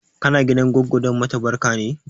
Kana gidan goggo don mata barka ne?